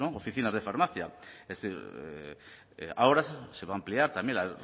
oficinas de farmacia ahora se va a ampliar también la